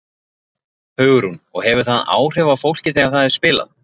Hugrún: Og hefur það áhrif á fólkið þegar það er spilað?